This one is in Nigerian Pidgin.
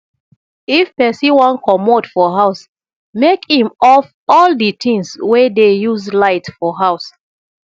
if person wan comot for house make im off all di things wey dey use light for house